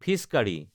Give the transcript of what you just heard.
fees কাৰি